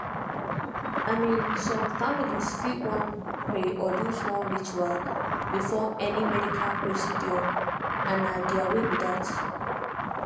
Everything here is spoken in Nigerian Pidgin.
i mean some families fit wan pray or do small ritual before any medical procedure and na their way be that.